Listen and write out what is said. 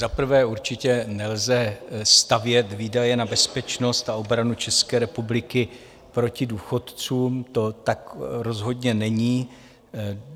Za prvé určitě nelze stavět výdaje na bezpečnost a obranu České republiky proti důchodcům, to tak rozhodně není.